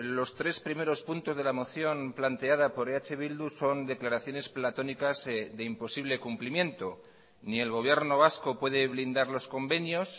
los tres primeros puntos de la moción planteada por eh bildu son declaraciones platónicas de imposible cumplimiento ni el gobierno vasco puede blindar los convenios